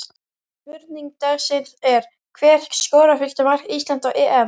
Spurning dagsins er: Hver skorar fyrsta mark Íslands á EM?